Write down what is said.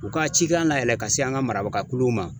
U ka cikan nayɛlɛ ka se an ka marabaga kuluw ma.